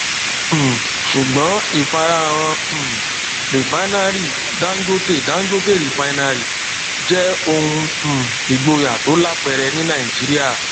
um sùgbọn ìfarahàn um rìfánárì dangote dangote refinery jẹ ohun um ìgboyà tó lápẹrẹ ní nàìjíríà